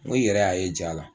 Ng'i yɛrɛ y'a ye ja la